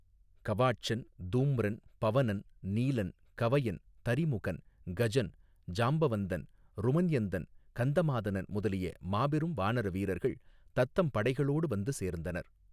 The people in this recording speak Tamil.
கவாட்சன் தூம்ரன் பவனன் நீலன் கவயன் தரிமுகன் கஜன் ஜாம்பவந்தன் ருமன்யந்தன் கந்தமாதனன் முதலிய மாபெரும் வானர வீரர்கள் தத்தம் படைகளோடு வந்து சேர்ந்தனர்.